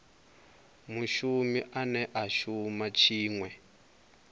mushumi ane a shuma tshiṅwe